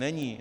Není.